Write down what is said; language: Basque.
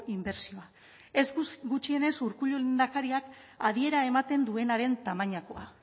inbertsioa ez gutxienez urkullu lehendakariak adiera ematen duenaren tamainakoa